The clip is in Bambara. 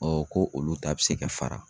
ko olu ta bɛ se ka fara.